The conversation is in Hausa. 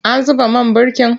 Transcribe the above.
An zuba man birkin?